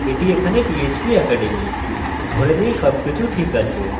একে phpacademy তে বদলান এবং সংরক্ষণ করুন